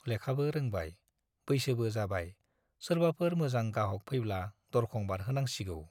लेखाबो रोंबाय, बैसोबो जाबाय-सोरबाफोर मोजां गाहाक फैब्ला दरखं बारहोहरनांसिगौ।